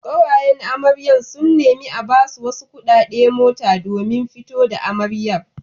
Ƙawayen amaryar sun nemi a basu wasu kuɗaɗe mota domin fito da amaryar.